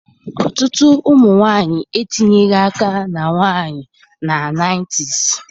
Ọtụtụ ụmụ nwanyị etinyeghị aka na nwanyị na 90s